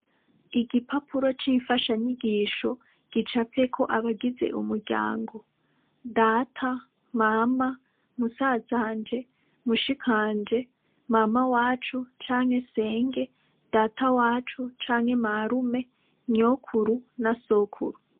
Igipapuro c'imfasha nyigisho gicavyeko abagize umuryango data mama musazanje mushikanje mama wacu canke senge data wacu canke marume nyokuru na sokuru.